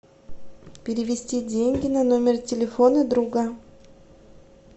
перевести деньги на номер телефона друга